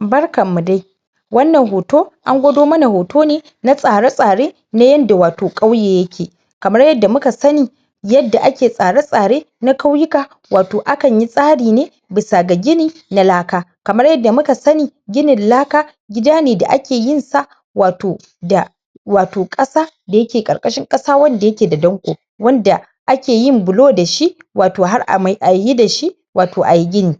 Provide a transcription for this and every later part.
Barkanmu dai wannan hoto an gwado mana hoto ne na tsare-tsare na yadda wato ƙauye yake, kamar yadda muka sani yadda ake tsare-tsare na ƙauyuka ato akan yi tsari ne bisa ga gini na laka kamar yadda muka sani ginin laka gida ne da ake yin sa wato da wato ƙasa da yake ƙarƙarshin ƙasa wanda yake da danƙo wanda ake yin bulo da shi wato har a yi da shi wato a yi gini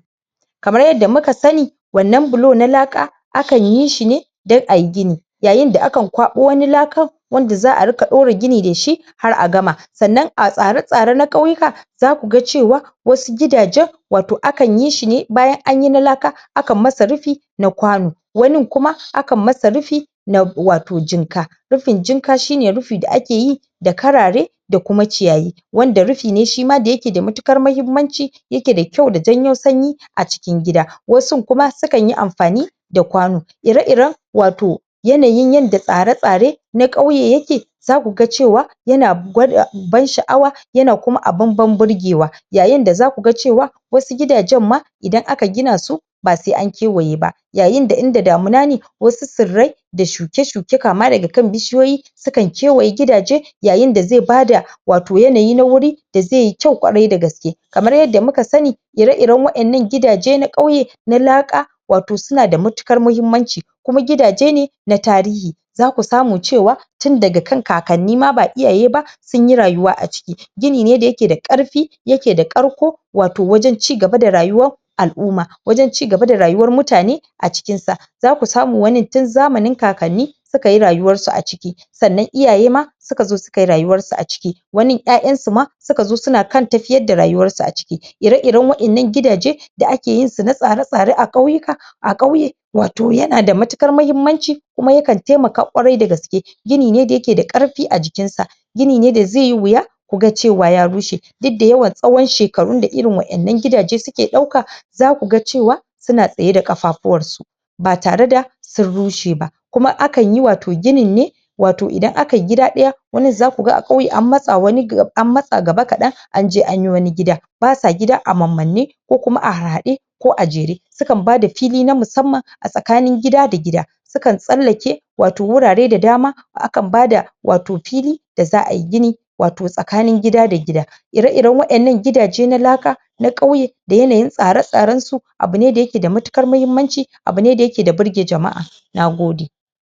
kamar yadda muka sani wannan bulo na laka akan yi shi ne don a yi gini yayin da akan kwaɓo wani lakan wanda za a ɗora gini da shi har a gama sannan a tsare-tsare na ƙauyuka zaku ga cewa wasu gidajen wato akan yi shi ne bayan an yi na laka akan masa rufi na kwano wanin kuma akan masa rufi na wato jinka rufin jinka shi ne rufi da ake yi da karare da kuma ciyayi, wanda rufi ne shima da yake da matuƙar mahimmanci yake da kyau da janyo sanyi a cikin gida wasun kuma sukan yi amfani da kwano ire-iren wato yanayin yadda tsare-tsare na ƙauye yake zaku ga cewa yana gwada ban sha’awa yana kuma abin ban burgewa yayin da zaku ga cewa wasu gidajen ma idan aka gina su ba sai an kewaye ba yayin da inda damuna ne wasu tsirrai da shuke-shuke kama daga kan bishiyoyi sukan kewaye gidaje yayin da zai bada wato yanayi na wuri da zai yi kyau kwarai da gaske Kamar yadda muka sani ire-iren wa’innan gidaje na ƙauye na laka suna da matuƙar muhimmanci kuma gidaje ne na tarihi zaku samu cewa tun daga kan kakanni ma ba iyaye ba sun yi rayuwa a ciki, gini ne da yake da ƙarfi yake da ƙarko wato wajen cigaba da rayuwa al’umma wajen cigaba da rayuwar mutane a cikin sa zaku samo wani tun zamanin kakanni suka yi rayuwarsu a ciki sannan iyaye ma suka zo suka yi rayuwarsu a ciki wanin ƴaƴansu ma suka zo suna kan tafiyar da rayuwarsu a ciki ire-iren wa’innan gidaje da ake yin su na tsare-tsare a ƙauyuka a ƙauye wato yana da matuƙar muhimmanci kuma yakan taimaka kwarai da gaske gini ne da yake da ƙarfi a jikinsa gini ne da zai yi wuya ku ga cewa ya rushe duk da yawan tsawon shekaru da irin wa’innan gidaje suke ɗauka zaku ga cewa suna tsaye da ƙafafuwansu ba tare da sun rushe ba kuma akan yi wato ginin ne wato idan aka yi gida ɗaya, wanin zaku ga a ƙauye an matsa gaba kaɗan an je an yi wani gida basa gida a mammanne, ko kuma harhaɗe ko a jere sukan bada fili na musamman a tsakanin gida da gida Sukan tsallake wato wurare da dama akan bada wato fili da za a yi gini wato tsakanin gida da gida ire-iren wa’innan gidaje na laka na ƙauye da yanayin tsare-tsarensu abu ne da yake da matuƙar muhimmanci abu ne da yake burge jama’a Nagode